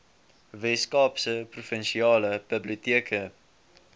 weskaapse provinsiale biblioteke